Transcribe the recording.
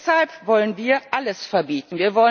Deshalb wollen wir alles verbieten.